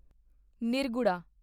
ਨਿਰਗੁੜਾ